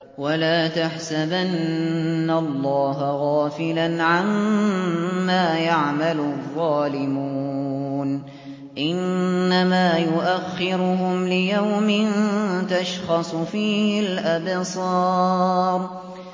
وَلَا تَحْسَبَنَّ اللَّهَ غَافِلًا عَمَّا يَعْمَلُ الظَّالِمُونَ ۚ إِنَّمَا يُؤَخِّرُهُمْ لِيَوْمٍ تَشْخَصُ فِيهِ الْأَبْصَارُ